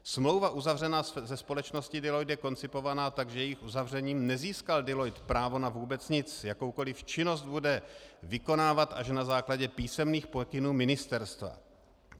Smlouva uzavřená se společnosti Deloitte je koncipovaná tak, že jejím uzavřením nezískal Deloitte právo na vůbec nic, jakoukoliv činnost bude vykonávat až na základě písemných pokynů ministerstva.